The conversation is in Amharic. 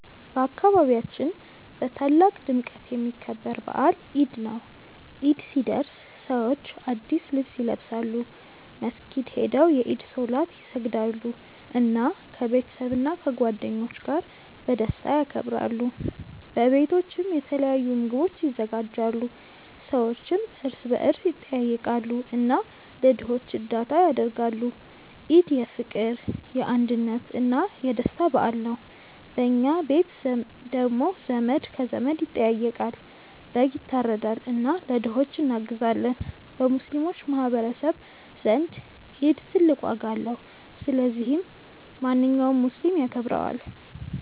በአካባቢያችን በታላቅ ድምቀት የሚከበር በዓል ኢድ ነው። ኢድ ሲደርስ ሰዎች አዲስ ልብስ ይለብሳሉ፣ መስጊድ ሄደው የኢድ ሶላት ይሰግዳሉ፣ እና ከቤተሰብና ከጓደኞች ጋር በደስታ ያከብራሉ። በቤቶችም የተለያዩ ምግቦች ይዘጋጃሉ፣ ሰዎችም እርስ በርስ ይጠያየቃሉ እና ለድሆች እርዳታ ያደርጋሉ። ኢድ የፍቅር፣ የአንድነት እና የደስታ በዓል ነው። በኛ ቤት ደግሞ ዘመድ ከዘመድ ይጠያየቃል፣ በግ ይታረዳል እና ለድሆች እናግዛለን። በሙስሊሞች ማህቀረሰብ ዘንድ ኢድ ትልቅ ዋጋ አለው። ስለዚህ ማንኛውም ሙስሊም ያከብረዋል።